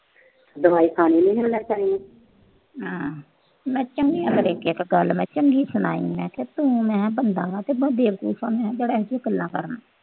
ਮੈਂ ਚੰਗੀ ਤਰ੍ਹਾਂ ਇੱਕ-ਇੱਕ ਗੱਲ ਚੰਗੀ ਸੁਣਾਈ। ਮੈਂ ਕਿਹਾ ਤੂੰ ਬੰਦਾ ਆ ਕਿ ਬੇਵਕੂਫ ਆ। ਮੈਂ ਕਿਹਾ ਤੂੰ ਬੜੀਆਂ ਇੱਥੇ ਗੱਲਾਂ ਕਰਦਾ।